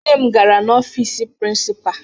Nne m gara n'ọfiisi prịnsịpaa